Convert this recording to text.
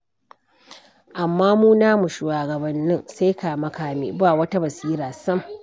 Amma mu namu shugabannin sai kame-kame, ba wata basira sam.